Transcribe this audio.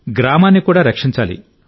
గ్రామాన్ని కూడా రక్షించాలి